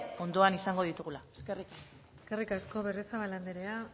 kontuan izango ditugula eskerrik asko eskerrik asko berriozabal anderea